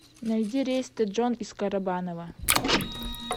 найди рейс в тэджон из карабаново